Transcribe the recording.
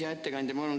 Hea ettekandja!